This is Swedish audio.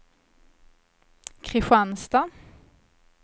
Kristianstad